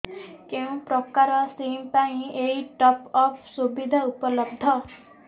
କେଉଁ ପ୍ରକାର ସିମ୍ ପାଇଁ ଏଇ ଟପ୍ଅପ୍ ସୁବିଧା ଉପଲବ୍ଧ